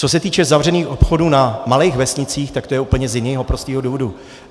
Co se týče zavřených obchodů na malých vesnicích, tak to je úplně z jiného prostého důvodu.